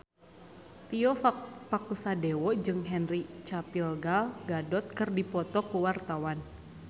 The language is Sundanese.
Tio Pakusadewo jeung Henry Cavill Gal Gadot keur dipoto ku wartawan